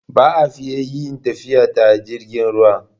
Ba'a fiya yin tafiya ta jirgin ruwa ba